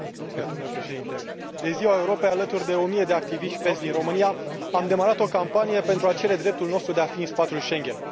Domnule Președinte, de Ziua Europei, alături de o mie de activiști PES din România, am demarat o campanie pentru a cere dreptul nostru de a fi în spațiul Schengen.